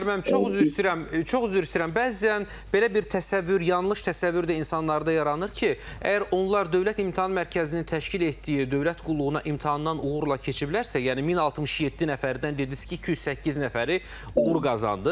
Xanlar müəllim, çox üzr istəyirəm, çox üzr istəyirəm, bəzən belə bir təsəvvür, yanlış təsəvvür də insanlarda yaranır ki, əgər onlar Dövlət İmtahan Mərkəzinin təşkil etdiyi dövlət qulluğuna imtahandan uğurla keçiblərsə, yəni 1067 nəfərdən dediniz ki, 208 nəfəri uğur qazandı.